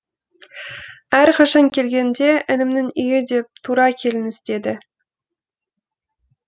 әрқашан келгенде інімнің үйі деп тура келіңіз деді